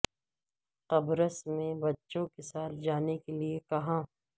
قبرص میں بچوں کے ساتھ جانے کے لئے کہاں